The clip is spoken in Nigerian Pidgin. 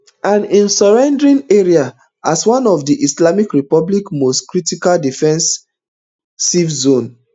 and im surrounding areas as one of di islamic republic most critical defensive zones